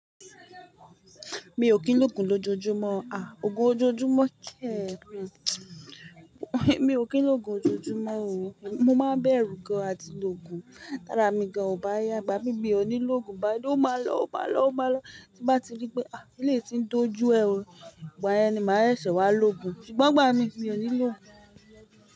Mi ò kín lógun lójoójúmọ́, ah ògo ójoójúmọ́ kẹ? Mi ò kín lógun lójoójúmọ́ o, mo máa ń bẹ̀rù gan àti lógun, tárá mi gan ò bá yá, ìgbàmí mí ò ní lógun bá ó máa lọ, ó máa lọ, ó máa lọ tí bá ti rí pé ah eléyìí ti ń dojú ẹ o, ìgbà yẹn ni máa ẹ̀ ṣẹ̀ wá lógun, ṣùgbọ́n ìgbà mi, mi ò ní lógun.